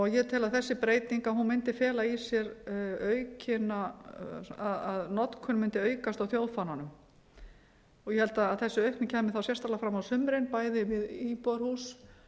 ég tel að þessi breyting mundi fela í sér að notkun mundi aukast á þjóðfánanum ég held að þessi aukning kæmi þá sérstaklega fram á sumrin bæði við íbúðarhús